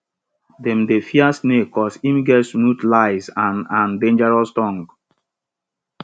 dem dey fear snake cause im get smooth lies and and dangerous tongue